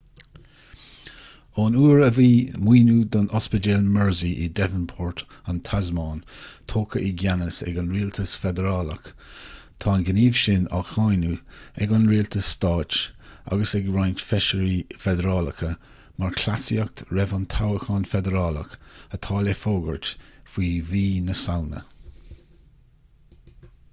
ón uair a bhí maoiniú don ospidéal mersey in devonport an tasmáin tógtha i gceannas ag an rialtas feidearálach tá an gníomh sin á cháineadh ag an rialtas stáit agus ag roinnt feisirí feidearálacha mar chleasaíocht roimh an toghchán feidearálach atá le fógairt faoi mhí na samhna